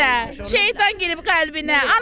Dayanan yerdə şeytan girib qəlbinə.